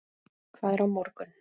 Hvað er á morgun?